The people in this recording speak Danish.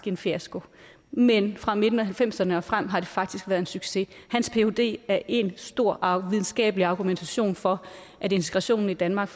en fiasko men fra midten af nitten halvfemserne og frem har det faktisk være en succes hans phd er en stor og videnskabelig argumentation for at integrationen i danmark